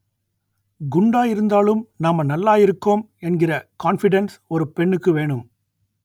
குண்டாயிருந்தாலும் நாம நல்லாயிருக்கோம் என்கிற கான்ஃபிடென்ஸ் ஒரு பெண்ணுக்கு வேணும்